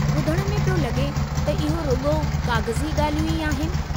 ॿुधणु में पियो लगे॒ त इहो रुॻो काग़ज़ी ॻाल्हियूं ई आहिनि।